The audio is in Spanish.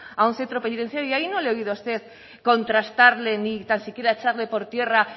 a un centro penitenciario y ahí no le he oído a usted contrastarle ni tan siquiera echarle por tierra